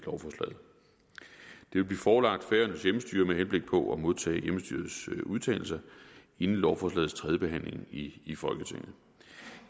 vil blive forelagt færøernes hjemmestyre med henblik på at modtage hjemmestyrets udtalelser inden lovforslagets tredje behandling i i folketinget